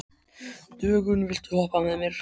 Dögun, viltu hoppa með mér?